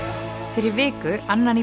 fyrir viku annan í